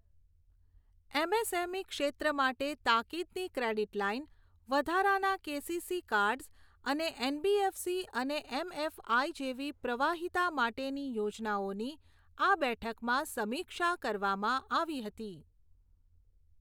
MSME ક્ષેત્ર માટે તાકીદની ક્રેડીટ લાઈન, વધારાના કેસીસી કાર્ડઝ અને એનબીએફસી અને એમએફઆઈ જેવી પ્રવાહિતા માટેની યોજનાઓની આ બેઠકમાં સમીક્ષા કરવામાં આવી હતી.